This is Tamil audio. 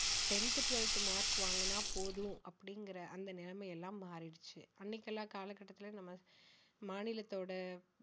tenth, twelfth mark வாங்கனா போதும் அப்படிங்கற அந்த நிலைமை எல்லாம் மாறிடுச்சு அன்னைக்கெல்லாம் காலகட்டத்தில நம்ம மாநிலத்தோட